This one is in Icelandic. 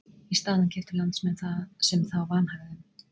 Í staðinn keyptu landsmenn það sem þá vanhagaði um.